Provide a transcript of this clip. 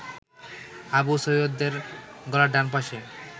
আবু সৈয়দের গলার ডানপাশে